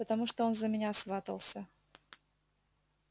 потому что он за меня сватался